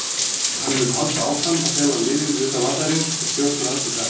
Hann mun halda áfram að þjálfa liðið utan vallarins og stjórna öllu þar.